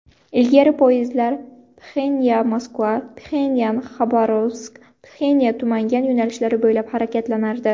Ilgari poyezdlar PxenyanMoskva, PxenyanXabarovsk, MoskvaTumangan yo‘nalishlari bo‘ylab harakatlanardi.